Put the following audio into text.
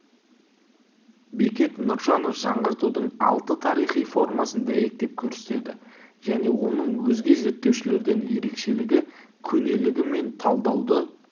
бекет нұржанов жаңғыртудың алты тарихи формасын дәйектеп көрсетеді және оның өзге зерттеушілерден ерекшелігі көнелігі мен талдауды